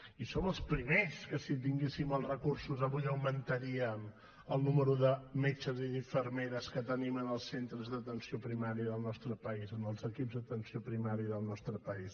i som els primers que si tinguéssim els recursos avui augmentaríem el nombre de metges i d’infermeres que tenim en els centres d’atenció primària del nostre país en els equips d’atenció primària del nostre país